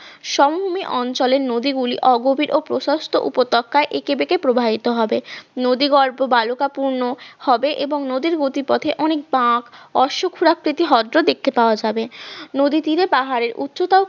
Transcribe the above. সমভূমি অঞ্চলের নদী গুলির অগভীর ও প্রশস্ত উপত্যকা এঁকেবেকে প্রবাহিত হবে, নদীগর্ভ বালুকা পূর্ণ হবে এবং নদীর গতিপথের অনেক বকা অশ্বক্ষুরাকৃতি হরদ দেখতে পাওয়া যাবে নদীর তীরে পাহাড়ের উচ্চতা